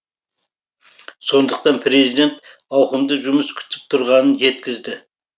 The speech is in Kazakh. сондықтан президент ауқымды жұмыс күтіп тұрғанын жеткізді